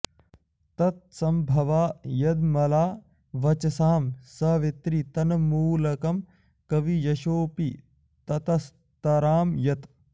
तत्सम्भवा यदमला वचसां सवित्री तन्मूलकं कवियशोऽपि ततस्तरां यत्